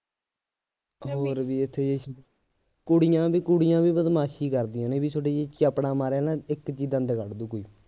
ਹੋਰ ਵੀ ਇਥੇ ਜੇ ਕੁੜੀਆਂ ਦੀ ਕੁੜੀਆਂ ਵੀ ਬਦਮਾਸ਼ੀ ਕਰਦੀਆਂ ਨੇ ਬਈ ਥੋਡੇ ਜੇ ਚੱਪੜਾ ਮਾਰਿਆ ਨਾ ਇੱਕ ਚ ਹੀ ਦੰਦ ਕੱਢ ਦੇਊ ਕੋਈ